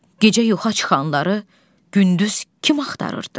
Gecə yoxa çıxanları gündüz kim axarırdı?